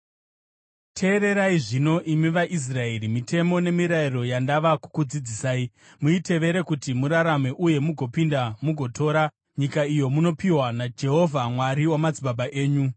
Teererai zvino, imi vaIsraeri, mitemo nemirayiro yandava kukudzidzisai. Muitevere kuti murarame uye mugopinda mugotora nyika iyo munopiwa naJehovha, Mwari wamadzibaba enyu.